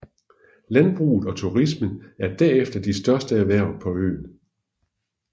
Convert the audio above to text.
Landbruget og turismen er derefter de største erhverv på øen